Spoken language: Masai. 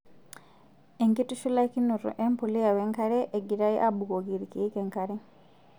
Enkitushulakinoto embuliya wenkare engirae abukoki irkiek enkare.